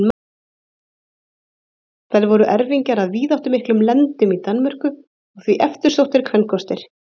þær voru erfingjar að víðáttumiklum lendum í danmörku og því eftirsóttir kvenkostir